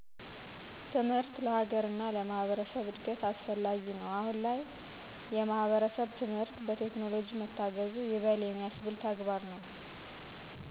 ትምህር ለሀገር እና ለማህበረሰብ እድገት አስፈላጊ ነው አሁን ላይ የማህበረሰብ የትምህርት በቴክኖለጅ መታገዙ ይበል የሚያስብል ተግባር ነው